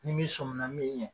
Ni mi sɔn minna min ɲɛ